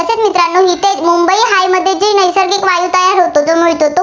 काय होतो, तर मिळतो.